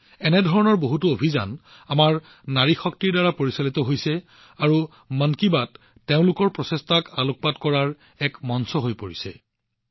এনে ধৰণৰ বহুতো অভিযান আমাৰ নাৰী শক্তিৰ দ্বাৰা পৰিচালিত হৈছে আৰু মন কী বাতয়ে তেওঁলোকৰ প্ৰচেষ্টাক আগুৱাই অনাৰ বাবে এক মঞ্চ হিচাপে কাম কৰিছে